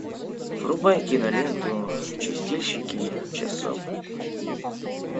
врубай киноленту чистильщики часов